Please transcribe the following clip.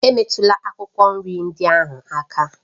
Emetụla akwụkwọ nri ndị ahụ aka!